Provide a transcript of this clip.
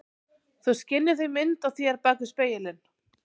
Þú skynjar því mynd af þér bak við spegilinn.